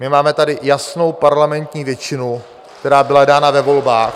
My máme tady jasnou parlamentní většinu, která byla dána ve volbách...